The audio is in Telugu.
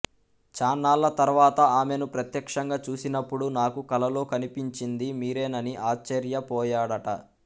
చాన్నాళ్ళ తర్వాత ఆమెను ప్రత్యక్షంగా చూసినప్పుడు నాకు కలలో కనిపించింది మీరేనని ఆశ్చర్యపోయాడట